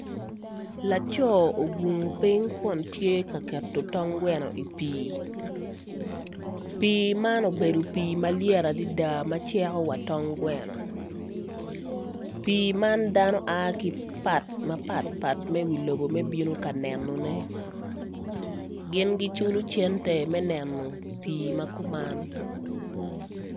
Laco man tye ka tedo tong gweno I pii, pii man obedo pii malyet adada ma ceko wa tong gweno pii man dano bino ki I wi lobo ka mapatpat ka nenone gin giculo center me neno pii man.